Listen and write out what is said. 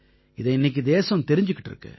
இதை இன்னைக்கு தேசம் தெரிஞ்சுக்கிட்டு இருக்கு